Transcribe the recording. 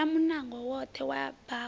vala munango woṱhe wa bako